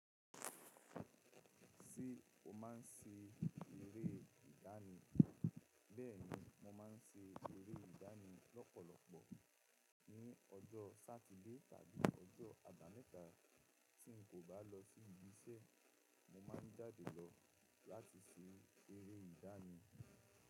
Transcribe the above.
Ṣé o maa ń ṣe eré ìdáni? Bẹ́ẹ̀ni, mo máa ń ṣe eré ìdání lọ́pọ̀lọpọ̀, ní ọjọ́ Sátidé tàbí ọjọ́ àbámẹ́ta. Tí n kò bá lọ sí ibiṣẹ́, mo máa ń jáde lọ láti ṣe eré ìdáni.